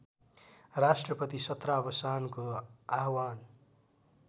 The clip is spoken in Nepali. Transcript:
राष्‍ट्रपति सत्रावसानको आह्वान